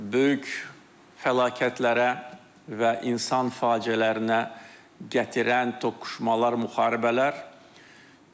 Böyük fəlakətlərə və insan faciələrinə gətirən toqquşmalar, müharibələr gedir.